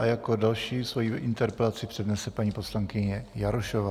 A jako další svoji interpelaci přednese paní poslankyně Jarošová.